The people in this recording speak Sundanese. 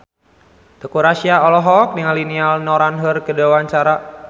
Teuku Rassya olohok ningali Niall Horran keur diwawancara